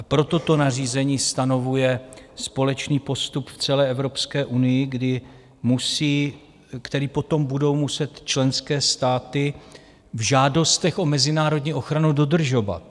A proto to nařízení stanovuje společný postup v celé Evropské unii, který potom budou muset členské státy v žádostech o mezinárodní ochranu dodržovat.